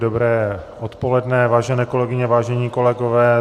Dobré odpoledne, vážené kolegyně, vážení kolegové.